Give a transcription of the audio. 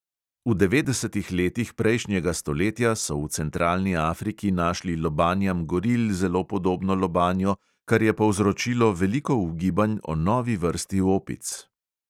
V devetdesetih letih prejšnjega stoletja so v centralni afriki našli lobanjam goril zelo podobno lobanjo, kar je povzročilo veliko ugibanj o novi vrsti opic.